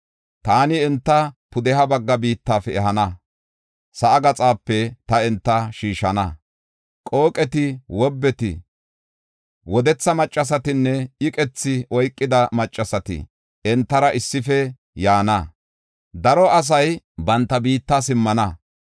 Taani enta pudeha bagga biittafe ehana; sa7aa gaxape ta enta shiishana. Qooqeti, wobbeti, wodetha maccasatinne iqethi oykida maccasati entara issife yaana; daro asay banta biitta simmana.